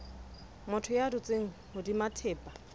motho ya dutseng hodima thepa